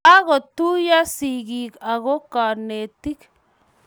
Kagotuiyo sigik ako konetik